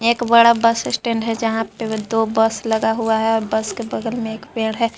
एक बड़ा bus stand है जहां पे दो बस लगा हुआ है बस के बगल में एक पेड़ है।